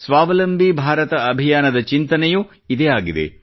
ಸ್ವಾವಲಂಬಿ ಭಾರತ ಅಭಿಯಾನದ ಚಿಂತನೆಯೂ ಇದೇ ಆಗಿದೆ